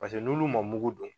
Paseke n'olu ma mugu don.